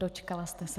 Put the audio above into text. Dočkala jste se.